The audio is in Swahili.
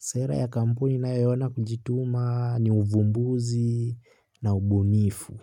Sera ya kampuni inayoona kujituma ni uvumbuzi na ubunifu.